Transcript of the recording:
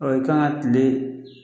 Ɔ i kan ka kile.